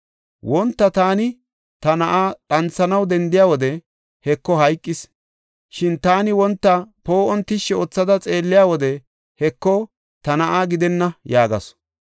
Wonta taani ta na7aa dhanthanaw dendiya wode, Heko hayqis. Shin taani wonta poo7on tishshi oothada xeelliya wode, Heko, ta na7aa gidenna” yaagasu.